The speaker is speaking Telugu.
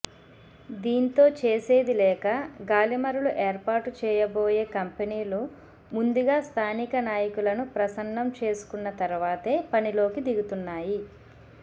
దీంతో చేసేదిలేక గాలిమరలు ఏర్పాటు చేయబోయే కంపెనీలు ముందుగా స్థానిక నాయకులను ప్రసన్నం చేసుకున్న తరువాతే పనిలోకి దిగుతున్నాయి